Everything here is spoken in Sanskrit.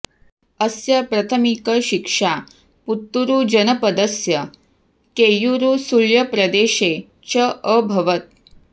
अस्य प्रथमिकशिक्षा पुत्तूरु जनपदस्य केय्यूरु सुळ्यप्रदेशे च अभवत्